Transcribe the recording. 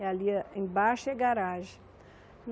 E ali a embaixo é garagem.